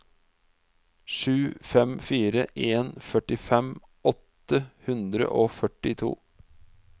sju fem fire en førtifem åtte hundre og førtito